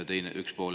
See on üks pool.